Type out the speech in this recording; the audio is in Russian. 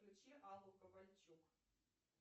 включи аллу ковальчук